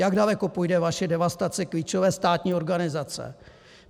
Jak daleko půjde vaše devastace klíčové státní organizace?